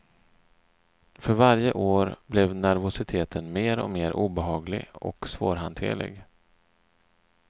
För varje år blev nervositeten mer och mer obehaglig och svårhanterlig.